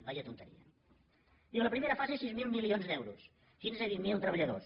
quina tonteria no diu la primera fase sis mil milions d’euros quinze vint mil treballadors